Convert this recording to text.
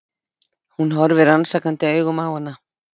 Hún horfir rannsakandi augum á hana.